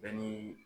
Bɛɛ ni